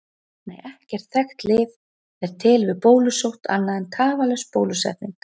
Nei, ekkert þekkt lyf er til við bólusótt annað en tafarlaus bólusetning.